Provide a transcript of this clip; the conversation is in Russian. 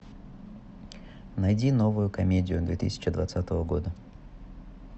найди новую комедию две тысячи двадцатого года